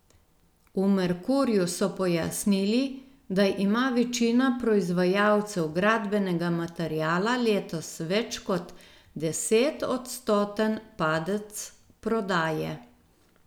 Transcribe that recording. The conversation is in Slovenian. V Merkurju so pojasnili, da ima večina proizvajalcev gradbenega materiala letos več kot desetodstoten padec prodaje.